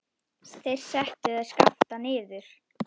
Þar settu þeir Skapta niður.